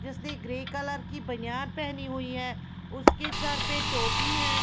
जिसने grey colour की बनियान पहनी हुई हैं उसके सिर पे टोपी हैं।